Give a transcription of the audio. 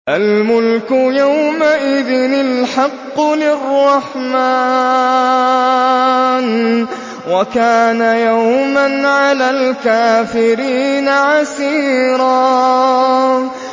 الْمُلْكُ يَوْمَئِذٍ الْحَقُّ لِلرَّحْمَٰنِ ۚ وَكَانَ يَوْمًا عَلَى الْكَافِرِينَ عَسِيرًا